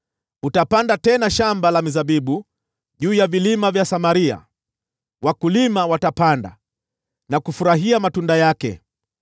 Utapanda tena shamba la mizabibu juu ya vilima vya Samaria, wakulima watapanda na kufurahia matunda yake.